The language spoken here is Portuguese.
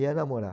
Ia namorar.